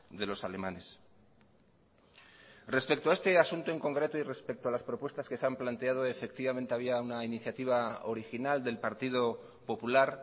de los alemanes respecto a este asunto en concreto y respeto a las propuestas que se han planteado efectivamente había una iniciativa original del partido popular